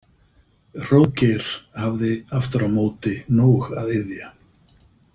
Hróðgeir hafði aftur á móti nóg að iðja.